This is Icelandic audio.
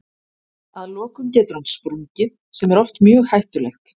Að lokum getur hann sprungið sem er oft mjög hættulegt.